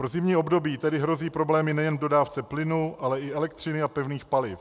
Pro zimní období tedy hrozí problémy nejen v dodávce plynu, ale i elektřiny a pevných paliv.